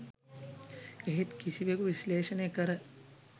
එහෙත් කිසිවෙකු විශ්ලේෂණය කර